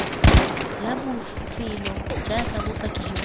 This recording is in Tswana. la bofelo jaaka bopaki jwa